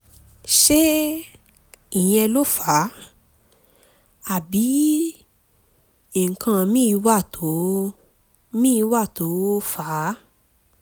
ṣé ìyẹn ló fà á àbí nǹkan míì wà tó míì wà tó fà á?